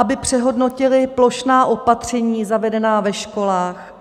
... aby přehodnotili plošná opatření zavedená ve školách.